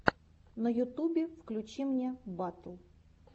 на ютубе включи мне батл